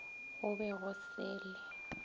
go be go se le